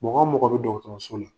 Mɔgɔ mɔgɔ bi la